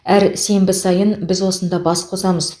әр сенбі сайын біз осында бас қосамыз